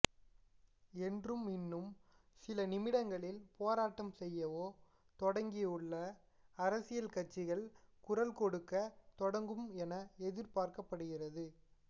என்றும் இன்னும் சில நிமிடங்களில் போராட்டம் செய்யவே தொடங்கியுள்ள அரசியல் கட்சிகள் குரல் கொடுக்க தொடங்கும் என எதிர்பார்க்கப்படுகிறது